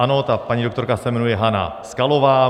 Ano, ta paní doktorka se jmenuje Hana Skalová.